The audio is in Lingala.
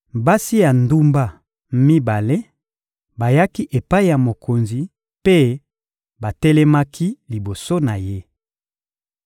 Basi ya ndumba mibale bayaki epai ya mokonzi mpe batelemaki liboso na ye.